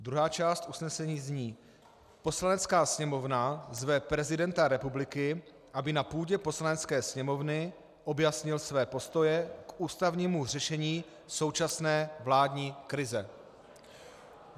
Druhá část usnesení zní: "Poslanecká sněmovna zve prezidenta republiky, aby na půdě Poslanecké sněmovny objasnil své postoje k ústavnímu řešení současné vládní krize."